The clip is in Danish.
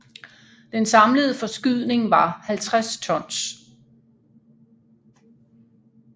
Den samlede forskydning var 50 tons